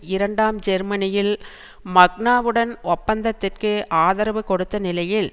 இரண்டாம் ஜெர்மனியில் மக்னாவுடன் ஒப்பந்தத்திற்கு ஆதரவு கொடுத்த நிலையில்